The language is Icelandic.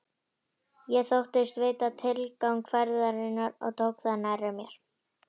Ég þóttist vita tilgang ferðarinnar og tók það nærri mér.